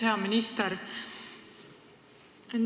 Hea minister!